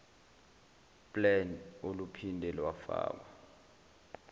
plan oluphinde lwafakwa